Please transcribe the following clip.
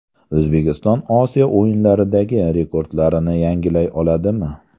O‘zbekiston Osiyo o‘yinlaridagi rekordlarini yangilay oladimi?.